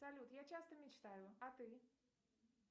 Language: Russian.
салют я часто мечтаю а ты